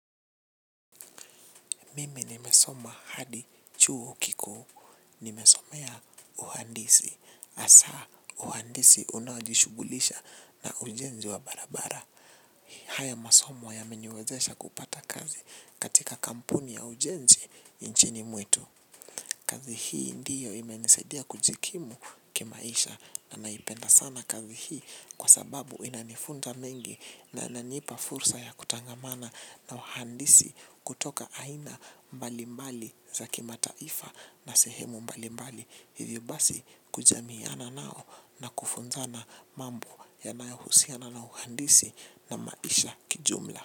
Mimi nimesoma hadi chuo kikuu. Nimesomea uhandisi. Asa uhandisi unajishugulisha na ujenzi wa barabara. Haya masomo ya meniwezesha kupata kazi katika kampuni ya ujenzi inchini mwetu. Kazi hii ndiyo ime nisaidia kujikimu kimaisha na naipenda sana kazi hii kwa sababu inanifunza mengi na inanipa fursa ya kutangamana na wahandisi kutoka aina mbalimbali za kima taifa na sehemu mbalimbali. Hivyo basi kujamiana nao na kufunzana mambo yanayohusiana na uhandisi na maisha kijumla.